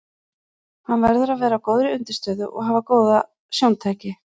Hann verður að vera á góðri undirstöðu og hafa góð sjóntæki.